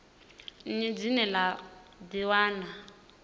nnyi dzine vha dzi wana